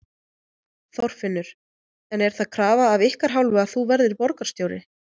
Þorfinnur: En er það krafa af ykkar hálfu að þú verðir borgarstjóri?